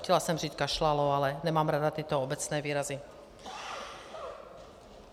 Chtěla jsem říct kašlalo, ale nemám ráda tyto obecné výrazy.